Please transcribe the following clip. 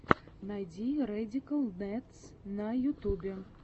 найди рэдикал нэдс на ютубе